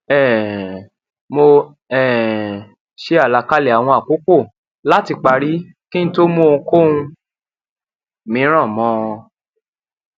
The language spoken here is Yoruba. um mo um ṣe àlàkalẹ àwọn àkókò láti parí kí n tó mú ohunkóhun mìíràn mọ ọn